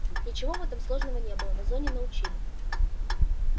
ничего в этом сложного не было на зоне научили